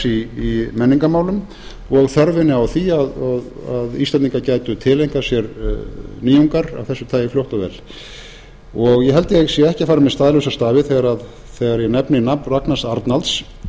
málsamfélags í menningarmálum og þörfinni á því að íslendingar gætu tileinkað sér nýjungar af þessu tagi fljótt og vel eg held ég sé ekki að fara með staðlausa stafi þegar ég nefni nafn ragnars arnalds